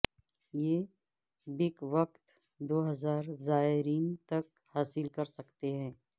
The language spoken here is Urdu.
یہ بیک وقت دو ہزار زائرین تک حاصل کر سکتے ہیں